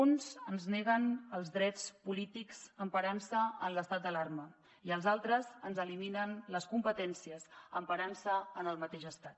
uns ens neguen els drets polítics emparant se en l’estat d’alarma i els altres ens eliminen les competències emparant se en el mateix estat